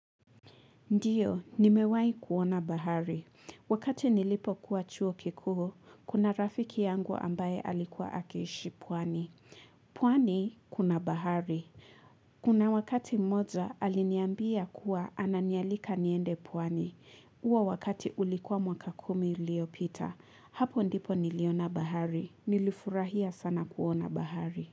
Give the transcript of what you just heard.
Ndiyo, nimewai kuona bahari. Wakati nilipo kuwa chuo kikuu, kuna rafiki yangu ambaye alikuwa akiishi pwani. Pwani, kuna bahari. Kuna wakati mmoja, aliniambia kuwa ananialika niende pwani. Huo wakati ulikuwa mwaka kumi iliopita. Hapo ndipo niliona bahari. Nilifurahia sana kuona bahari.